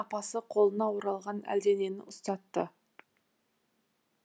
апасы қолына оралған әлденені ұстатты